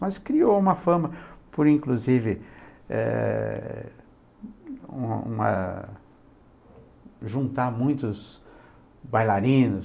Mas criou uma fama por, inclusive, eh, uma uma, juntar muitos bailarinos.